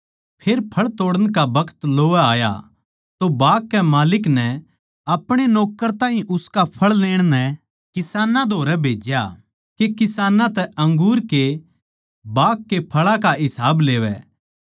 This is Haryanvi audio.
फेर फळ तोड़ण का बखत लोवै आया तो बाग के माल्लिक नै आपणे नौक्कर ताहीं उसका फळ लेण नै किसानां धोरै भेज्या के किसानां तै अंगूर के बाग के फळां का हिस्सा लेवै